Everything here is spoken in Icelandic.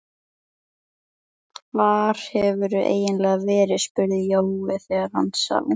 Hvar hefurðu eiginlega verið? spurði Jói þegar hann sá